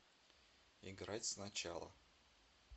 играть сначала